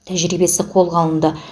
тәжірибесі қолға алынды